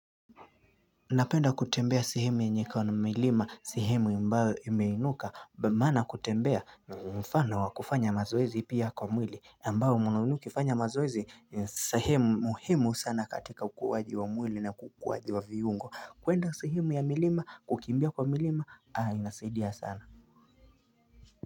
Napenda kutembea sehemu yenye iko na milima sehemu ambayo imeinuka maana kutembea mfano wa kufanya mazoezi pia kwa mwili ambao una ukifanya mazoezi sehemu muhimu sana katika ukuwaji wa mwili na kukuwaji wa viungo kuenda sehemu ya milima kukimbia kwa milima haa inasaidia sana.